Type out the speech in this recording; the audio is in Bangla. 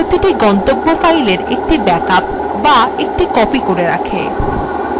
এই প্রতিটি গন্তব্য file একটি ব্যাকআপ করে তোলে